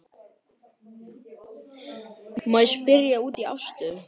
Gunnar: Má ég spyrja út í afstöðu?